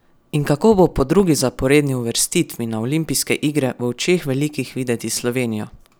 In kako bo po drugi zaporedni uvrstitvi na olimpijske igre v očeh velikih videti Slovenija?